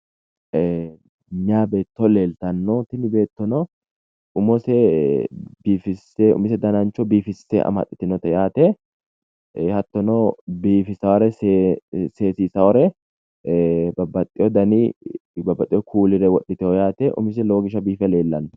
ee meyaa beetto leeltanno yaate dananchose biifisse amaxxitinote yaate beetto biifisaare babaxewo dani kuulire wodhitino yaate.